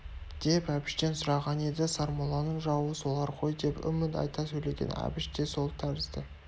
деп әбіштен сұраған еді сармолланың жауы солар ғой деп үміт айта сөйлеген әбіш те сол тәрізді